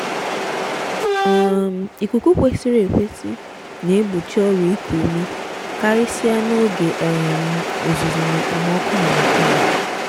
um ikuku kwesịrị ekwesị na-egbochi ọrịa iku ume karịsịa n'oge um uzuzu na okpomọkụ harmattan.